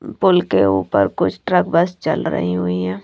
पुल के ऊपर कुछ ट्रक बस चल रही हुई है।